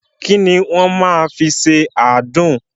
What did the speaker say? Ki ni wọ́n máa fi ṣe àádùn?